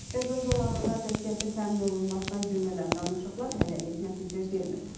Qəza zolağında atəşkəsin təmin olunmasına yönələn danışıqlar hələlik nəticə vermir.